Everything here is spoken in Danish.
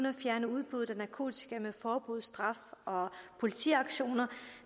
at fjerne udbuddet af narkotika med forbud straf og politiaktioner